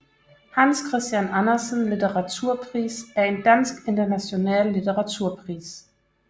Hans Christian Andersen Litteraturpris er en dansk international litteraturpris